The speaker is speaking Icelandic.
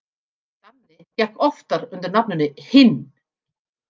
Danni gekk oftar undir nafninu Hinn.